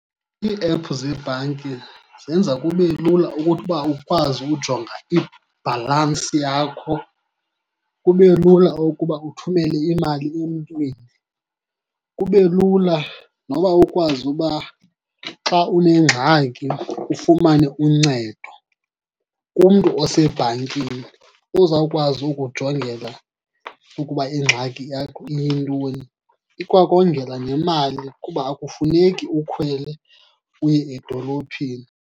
Iiephu zebhanki zenza kube lula ukuthi ukuba ukwazi ujonga ibhalansi yakho, kube lula ukuba uthumele imali emntwini, kube lula noba ukwazi uba xa unengxaki ufumane uncedo kumntu osebhankini ozawukwazi ukujongela ukuba ingxaki yakho iyintoni. Ikwakongela nemali kuba akufuneki ukhwele uye edolophini.